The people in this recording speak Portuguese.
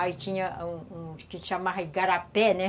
Aí tinha uns uns que chamavam Igarapé, né?